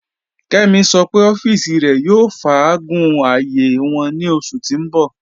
Kẹ́mí ṣọ́ pẹ̀ ọ̀fìísì rẹ̀ yóò fàágún ààyé wọn ní oṣù tí n bọ̀